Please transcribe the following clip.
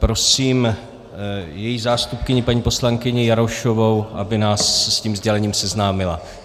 Prosím její zástupkyni paní poslankyni Jarošovou, aby nás s tím sdělením seznámila.